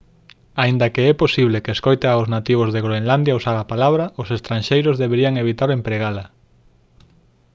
aínda que é posible que escoite aos nativos de groenlandia usar a palabra os estranxeiros deberían evitar empregala